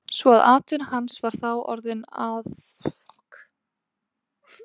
Svo að atvinna hans var þá orðin aðhlátursefni.